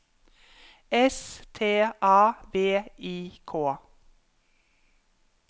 S T A V I K